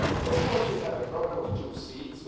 Of course, we have a problem of two seats.